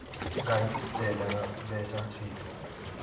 Ngai ndendaga mbeca citũ